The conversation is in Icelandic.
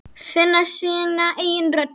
Finna sína eigin rödd þar.